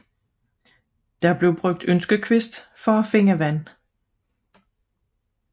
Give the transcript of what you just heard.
Der blev anvendt ønskekvist for at finde vand